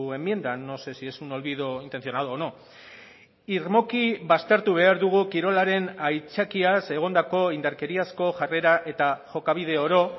enmienda no sé si es un olvido intencionado o no irmoki baztertu behar dugu kirolaren aitzakiaz egondako indarkeriazko jarrera eta jokabide oro